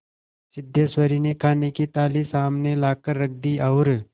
सिद्धेश्वरी ने खाने की थाली सामने लाकर रख दी और